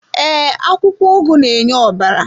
Ee, akwụkwọ ugu na-enye ọbara.